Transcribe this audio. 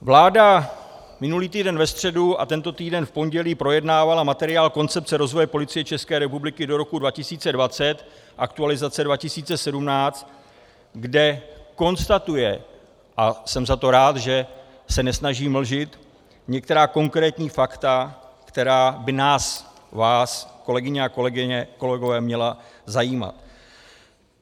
Vláda minulý týden ve středu a tento týden v pondělí projednávala materiál Koncepce rozvoje Policie České republiky do roku 2020, aktualizace 2017 , kde konstatuje - a jsem za to rád, že se nesnaží mlžit - některá konkrétní fakta, která by nás, vás, kolegyně a kolegové, měla zajímat.